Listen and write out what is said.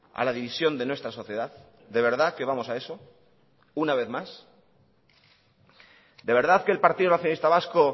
a la división de nuestra sociedad de verdad que vamos a eso una vez más de verdad que el partido nacionalista vasco